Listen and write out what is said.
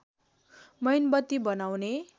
मैनबत्ति बनाउने